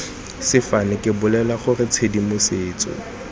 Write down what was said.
sefane ke bolela gore tshedimosetso